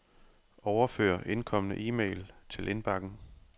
Overfør indkomne e-mail til indbakken.